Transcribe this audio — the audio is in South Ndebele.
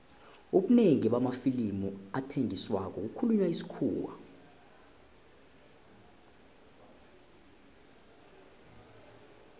ubunengi bamafilimu athengisako kukhulunywa isikhuwa